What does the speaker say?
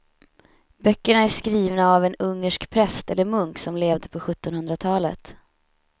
Böckerna är skrivna av en ungersk präst eller munk som levde på sjuttonhundratalet.